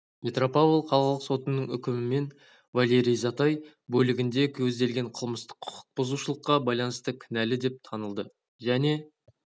петропавл қалалық сотының үкімімен валерий затай бөлігінде көзделген қылмыстық құқық бұзушылыққа байланысты кінәлі деп танылды және